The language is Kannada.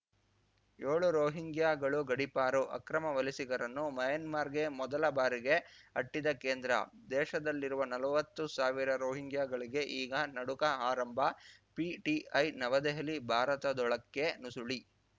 ಯೋಳು ರೋಹಿಂಗ್ಯಾಗಳು ಗಡೀಪಾರು ಅಕ್ರಮ ವಲಸಿಗರನ್ನು ಮ್ಯಾನ್ಮಾರ್‌ಗೆ ಮೊದಲ ಬಾರಿಗೆ ಅಟ್ಟಿದ ಕೇಂದ್ರ ದೇಶದಲ್ಲಿರುವ ನಲ್ವತ್ತು ಸಾವಿರ ರೋಹಿಂಗ್ಯಾಗಳಿಗೆ ಈಗ ನಡುಕ ಆರಂಭ ಪಿಟಿಐ ನವದೆಹಲಿ ಭಾರತದೊಳಕ್ಕೆ ನುಸುಳಿ